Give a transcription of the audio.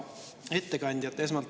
Hea ettekandja!